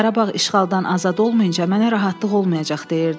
Qarabağ işğaldan azad olmayınca mənə rahatlıq olmayacaq", deyirdi.